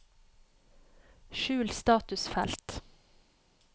skjul statusfelt